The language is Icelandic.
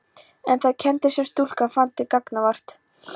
En þær kenndir sem stúlkan fann til gagnvart